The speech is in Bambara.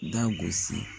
Da gosi